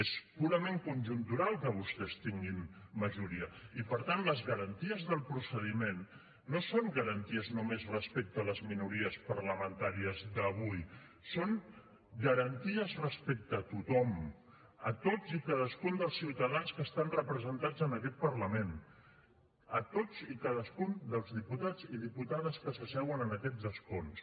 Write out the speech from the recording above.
és purament conjuntural que vostès tinguin majoria i per tant les garanties del procediment no són garanties només respecte a les minories parlamentàries d’avui són garanties respecte a tothom a tots i cadascun dels ciutadans que estan representats en aquest parlament a tots i cadascun dels diputats i diputades que s’asseuen en aquests escons